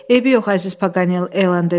Eybi yox əziz Paqanel, elan dedi.